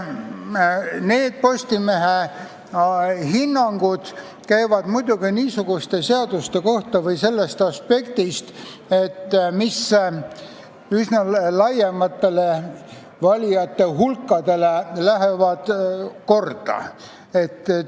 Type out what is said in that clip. Need Postimehe hinnangud on antud muidugi sellest aspektist, et mis üsna laiadele valijate hulkadele korda läheb.